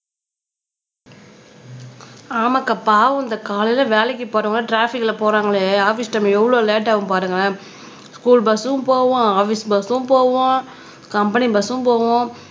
ஆமாக்கா பாவம் இந்த காலையில வேலைக்கு போறவங்க ட்ராபிக்ல போறாங்களே ஆபீஸ் டைம் எவ்வளவு லேட் ஆகும் பாருங்களேன் ஸ்கூல் பஸ்சும் போவும் ஆபீஸ் பஸ்சும் போவும் கம்பெனி பஸ்சும் போவும்